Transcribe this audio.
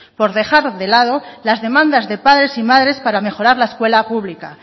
por dejar de lado las demandas de padres y madres para mejorar la escuela pública